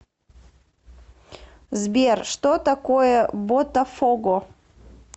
сбер что такое ботафого